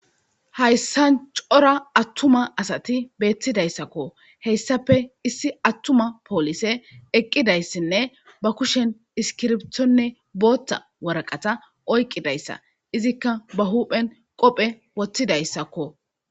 hayssan cora attuma asati beettidayssakko heyssape issi attuma poolise eqqidayssinne ba kushen iskirbtonne booththa waraqata oyqqidayssa izikka ba huuphen qophe woththidayssakko